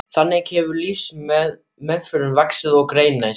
Þannig hefur lífsmeiðurinn vaxið og greinst.